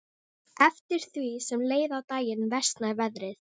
Eftir því sem leið á daginn versnaði veðrið.